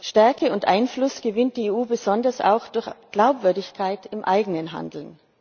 Stärke und Einfluss gewinnt die EU besonders auch durch Glaubwürdigkeit im eigenen Handeln.